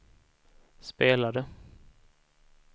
spelade